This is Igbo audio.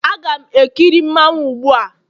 Aga m ekiri mmanwu gbu a